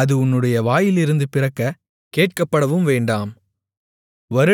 அது உன்னுடைய வாயிலிருந்து பிறக்கக் கேட்கப்படவும் வேண்டாம்